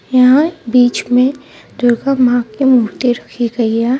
यहां बीच में दुर्गा मां की मूर्ति रखी गई है.